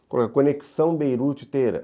Vou colocar Conexão Beirute-Teherã.